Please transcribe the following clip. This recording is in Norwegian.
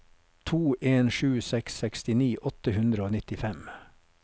to en sju seks sekstini åtte hundre og nittifem